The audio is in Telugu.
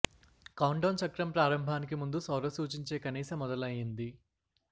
కౌంట్ డౌన్ చక్రం ప్రారంభానికి ముందు సౌర సూచించే కనీస మొదలైంది